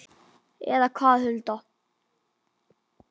Eða hvað, Hulda?